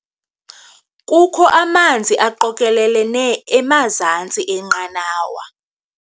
Kukho amanzi aqokelelene emazantsi enqanawa.